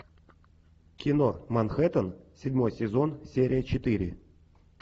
кино манхэттен седьмой сезон серия четыре